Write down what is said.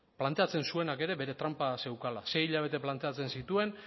planteatzen zuenak ere bere tranpa zeukala sei hilabete planteatzen zituen